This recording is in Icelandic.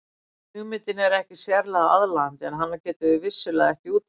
Hugmyndin er ekkert sérlega aðlaðandi en hana getum við vissulega ekki útilokað.